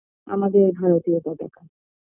আমাদের ভারতীয় পতাকা